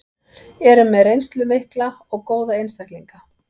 Eru með reynslu mikla og góða einstaklinga.